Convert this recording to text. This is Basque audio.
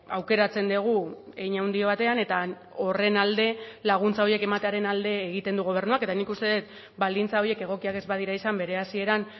aukeratzen dugu hein handi batean eta horren alde laguntza horiek ematearen alde egiten du gobernuak eta nik uste dut baldintza horiek egokiak ez badira izan bere hasieran